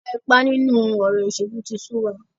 Ìwà ipá nínú ọ̀rọ̀ òṣèlú tí sú wa.